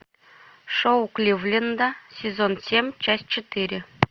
шоу кливленда сезон семь часть четыре